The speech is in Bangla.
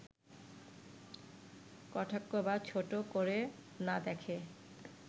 কটাক্ষ বা ছোট করে না দেখে